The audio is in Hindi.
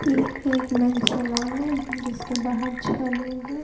ये एक मेन सेलोन है जिसके बाहर छह लोग हैं।